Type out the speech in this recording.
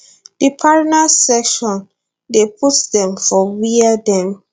di parners section dey put dem for wia dem